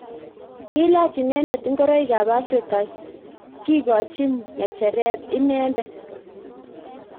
Kilach inendet ngoroik ab Afrika kikochin ngecheret inendet.